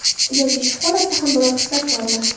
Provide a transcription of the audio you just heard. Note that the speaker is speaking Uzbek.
Yoki shu holatda ham biror xislat bormi?